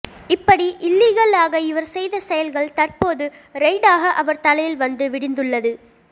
இப்படி இல்லீகலாக இவர் செய்த செயல்கள் தற்போது ரெய்டாக அவர் தலையில் வந்து விடிந்துள்ளது